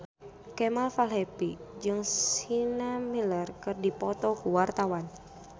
Kemal Palevi jeung Sienna Miller keur dipoto ku wartawan